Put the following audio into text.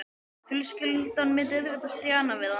Fjölskyldan myndi auðvitað stjana við hann.